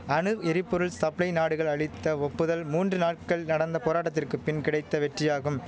அணு எரிபொருள் சப்ளை நாடுகள் அளித்த ஒப்புதல் மூன்று நாட்கள் நடந்த போராட்டத்திற்கு பின் கிடைத்த வெற்றியாகும்